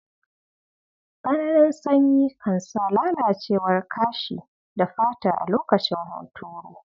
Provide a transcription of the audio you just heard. Tsananin sanyi kan sa lalacewar kashi da fata a lokacin huturu.